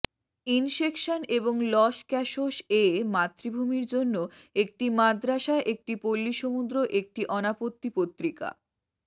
ইনসেকশন এবং লস ক্যাসোস এ মাতৃভূমির জন্য একটি মাদ্রাসা একটি পল্লী সমুদ্র একটি অনাপত্তি পত্রিকা